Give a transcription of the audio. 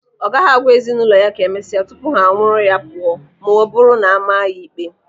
Ọ gaghị agwa ezinụlọ ya ka emesịa tupu ha anwụrụ ya pụọ ma ọ bụrụ na ama ya ikpe.